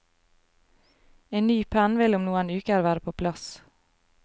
En ny penn vil om noen uker være på plass.